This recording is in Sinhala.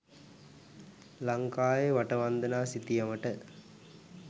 ලංකාවේ වටවන්දනා සිතියමට